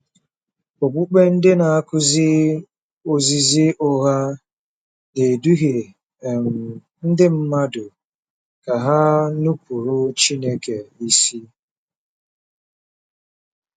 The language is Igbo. Okpukpe ndị na-akụzi ozizi ụgha na-eduhie um ndị mmadụ ka ha nupụrụ Chineke isi.